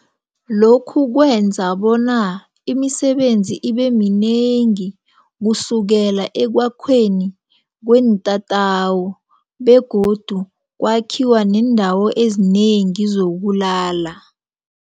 Lokhu kwenza bona imisebenzi ibeminengi kusukela ekwakhweni kweentatawu begodu kwakhiwa neendawo ezinengi zokulala.